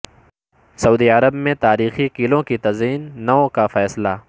سعودی عرب میں تاریخی قلعوں کی تزئین نو کا فیصلہ